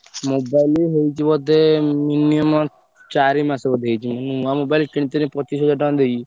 Mobile ହେଇଛି ବୋଧେ minimum ଚାରି ମାସ ବୋଧେ ହେଇଛି ମୁଁ ନୂଆ mobile କିଣିଥିଲି ପଚିଶି ହଜାର ଟଙ୍କା ଦେଇକି।